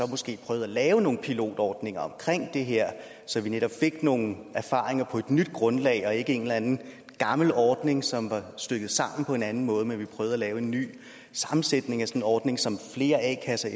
måske prøvede at lave nogle pilotordninger omkring det her så vi netop fik nogle erfaringer på et nyt grundlag og ikke fra en eller anden gammel ordning som var stykket sammen på en anden måde men at vi prøvede at lave en ny sammensætning af sådan en ordning som flere a kasser